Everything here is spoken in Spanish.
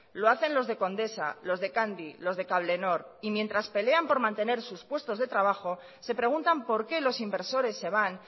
lo hacen los de condesa los de candy los de cablenor y mientras pelean por mantener sus puestos de trabajo se preguntan por qué los inversores se van